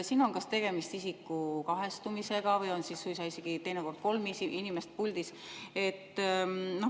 Siin on tegemist kas isiku kahestumisega või on teinekord suisa kolm inimest puldis.